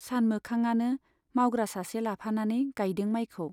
सानमोखांआनो मावग्रा सासे लाफानानै गाइदों माइखौ।